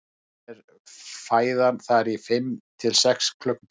oftast er fæðan þar í fimm til sex klukkutíma